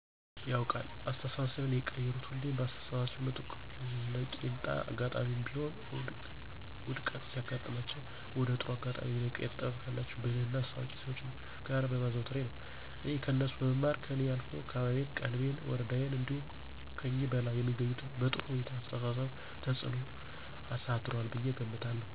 አወ አጋጥሞኝ ያውቃል። አስተሳሰቤን የቀየሩት ሁሌም በአስተሳሰባቸው ምጡቅና ለቄንጣ አጋጣሜም ቢሆን ውድቀት ሲያጋጥማቸው ወደ ጥሩ አጋጣሜ የመቀየር ጥበብ ካላቸው ብልህና አዋቂ ሰዎች ጋር በማዘውተሬ ነው። እኔ ከነሱ በመማር ከኔ አልፎ አካባቢየን፣ ቀበሌየን፣ ወረዳየን እንዲሁም ከኒህ በላይ የሚገኙትም በጥሩው አስተሳሰብ ተፅኖ አሳድሯል ብየ እገምታለሁ።